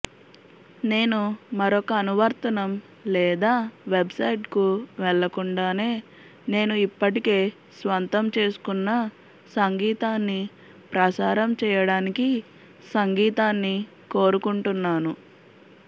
నేను మరొక అనువర్తనం లేదా వెబ్సైట్కు వెళ్ళకుండానే నేను ఇప్పటికే స్వంతం చేసుకున్న సంగీతాన్ని ప్రసారం చేయడానికి సంగీతాన్ని కోరుకుంటున్నాను